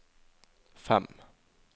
fem